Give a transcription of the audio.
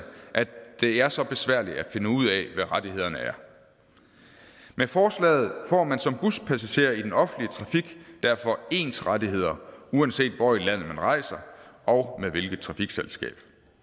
at det er så besværligt at finde ud af hvad rettighederne er med forslaget får man som buspassager i den offentlige trafik derfor ens rettigheder uanset hvor i landet man rejser og med hvilket trafikselskab